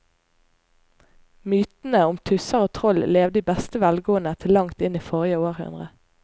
Mytene om tusser og troll levde i beste velgående til langt inn i forrige århundre.